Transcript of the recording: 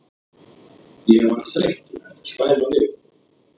Ég var þreyttur eftir slæma viku.